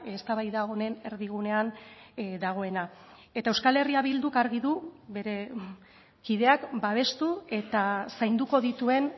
eztabaida honen erdigunean dagoena eta euskal herria bilduk argi du bere kideak babestu eta zainduko dituen